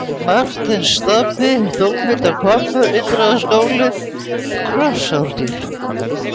Marteinsstapi, Dómhildarhvammur, Indriðaskál, Krossárgil